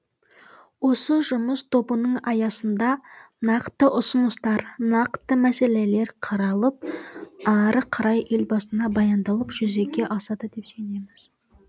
осы жұмыс тобының аясында нақты ұсыныстар нақты мәселелер қаралып ары қарай елбасына баяндалып жүзеге асады деп сенеміз